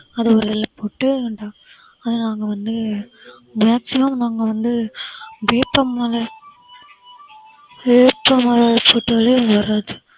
அதை ஒரு இதுல போட்டு அண்டா அதை நாங்க வந்து maximum நாங்க வந்து வேப்பமலர் வேப்பமரம் போட்டாலே அது வராது